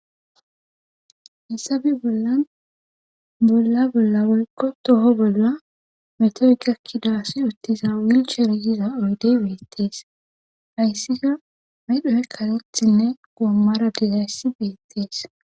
Hessabi bollan bolla bolla woykko toho bolla mete gakkidaasi uttiza wilcharyiza uydey weettees hayssika medhoe kalethinne goommara dizayssi beettees.